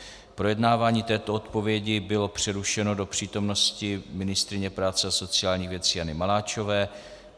Projednávání této odpovědi bylo přerušeno do přítomnosti ministryně práce a sociálních věcí Jany Maláčové.